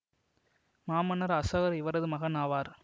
மாமன்னர் அசோகர் இவரது மகன் ஆவார்